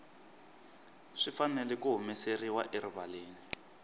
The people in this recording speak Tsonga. swi fanele ku humeseriwa erivaleni